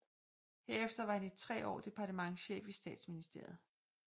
Herefter var han i tre år departementschef i Statsministeriet